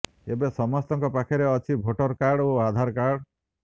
ଏବେ ସମସ୍ତଙ୍କ ପାଖରେ ଅଛି ଭୋଟର କାର୍ଡ ଓ ଆଧାର କାର୍ଡ